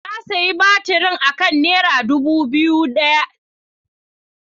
Na sayi batirin akan kudi naira dubu daya.